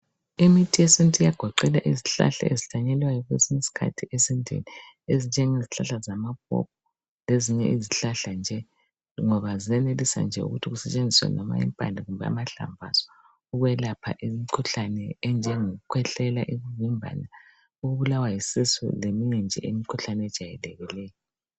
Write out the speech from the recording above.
Imithi yesintu iyagoqela izihlahla ezihlanyelwayo kwesinye isikhathi esintwini ezinjengezihlahla zamapopo lezinye izihlahla nje, ngoba ziyenelisa nje ukuthi kusetshenziswe noma impande kumbe amahlamvu azo ukwelapha imikhuhlane enjengokukhwehlela, imvimbano, ukubulawa yisisu leminye nje imikhuhlane ejayelekileyo.